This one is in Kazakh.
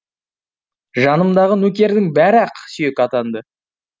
жанымдағы нөкердің бәрі ақсүйек атанды